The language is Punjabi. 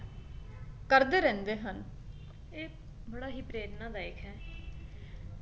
ਕਰਦੇ ਰਹਿੰਦੇ ਹਨ, ਇਹ ਬੜਾ ਹੀ ਪ੍ਰੇਰਨਾਦਾਇਕ ਹੈ